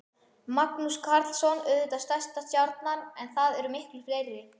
Magnús Karlsson auðvitað stærsta stjarnan en það eru miklu fleiri?